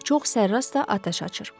Çox sərrast da atəş açır.